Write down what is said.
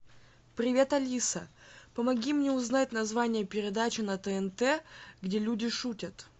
привет алиса помоги мне узнать название передачи на тнт где люди шутят